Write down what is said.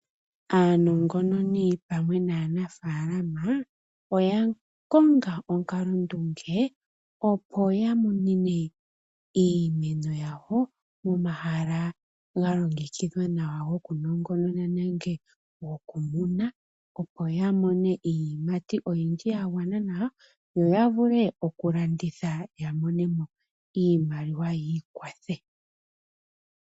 Aanongononi pamwe naanafalama oya konga onkalondunge, opo ya monene iimeno yawo omahala ga longekidhwa nawa goku nongonona nenge goku muna, opo ya mone iiyimati oyindji ya gwana nawa, yo ya vule oku landitha ya mone mo iimaliwa yiikwathe.